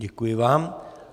Děkuji vám.